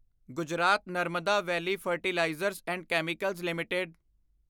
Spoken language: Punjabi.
Gujarat Narmada valley fertilizers and chemicals limited